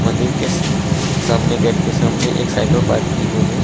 मंदिर के सामने गेट के सामने एक साइकिल पार्क की हुई है।